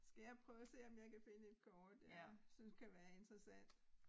Skal jeg prøve at se om jeg kan finde et kort jeg synes kan være interessant